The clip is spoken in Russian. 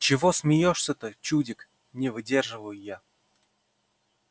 чего смеешься-то чудик не выдерживаю я